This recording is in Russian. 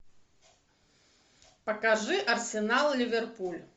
покажи арсенал ливерпуль